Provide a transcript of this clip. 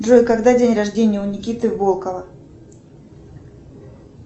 джой когда день рождения у никиты волкова